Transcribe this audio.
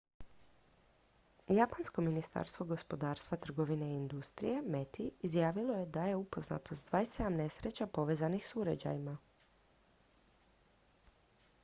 japansko ministarstvo gospodarstva trgovine i industrije meti izjavilo je da je upoznato s 27 nesreća povezanih s uređajima